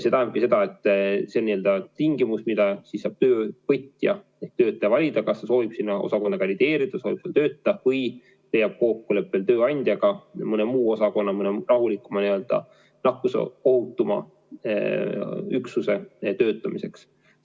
See tähendabki seda, et see on n-ö tingimus, mille siis saab töövõtja ja töötaja saab valida, kas ta soovib sinna osakonna kandideerida, soovib seal töötada või leiab kokkuleppel tööandjaga või mõne muu osakonna, mõne rahulikuma, n-ö nakkusohutuma üksuse töötamiseks.